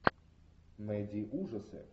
найди ужасы